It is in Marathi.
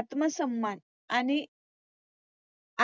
आत्मसन्मान आणि